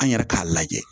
An yɛrɛ k'a lajɛ